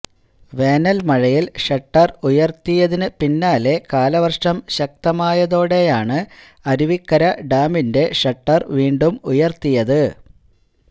വേനല് മഴയില് ഷട്ടര് ഉയര്ത്തിയതിന് പിന്നാലെ കാലവര്ഷം ശക്തമായതോടെയാണ് അരുവിക്കര ഡാമിന്റെ ഷട്ടര് വീണ്ടും ഉയര്ത്തിയത്